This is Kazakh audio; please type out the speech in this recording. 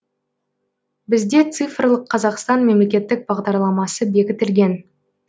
бізде цифрлық қазақстан мемлекеттік бағдарламасы бекітілген